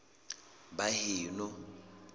baheno